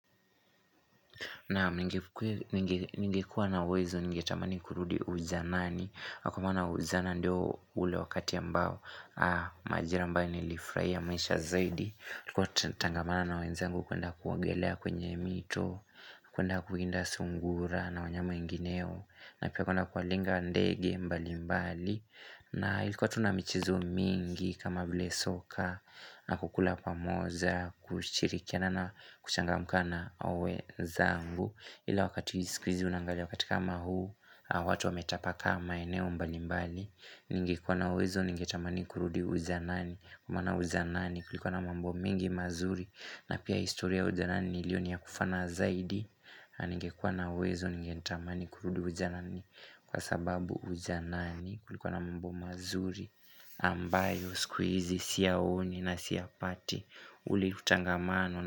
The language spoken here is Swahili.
Na ningekuwa na uwezo ningetamani kurudi ujanani kwamana ujana ndio ule wakati ambao Majira mbao nilifurahia maisha zaidi Kwa tengamana na wenzangu kwenda kuogelea kwenye mito kuenda kuwinda sungura na wanyama wingineyo na pia kwenda kuwalenga ndege mbali mbali na ilikuwa tunamichezo mingi kama vile soka na kukula pamoja kushirikiana na kuchangamka na wezangu Ila wakati ya sikwizi unangali Wakati kama huu watu wametapakaa maeneo mbalimbali Ningekuwa na wezo Ningetamani kurudi ujanani mana ujanani kulikuwa na mambo mingi mazuri na pia historia ujanani ilioni ya kufana zaidi Ningekuwa na uwezo Ningetamani kurudi ujanani Kwasababu ujanani kulikuwa na mambo mazuri ambayo sikuizi siyaoni na siya pati uli utangamano.